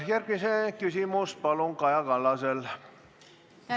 Järgmine küsimus, palun, Kaja Kallas!